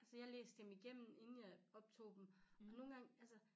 Altså jeg læste dem igennem inden jeg optog dem og nogen gange altså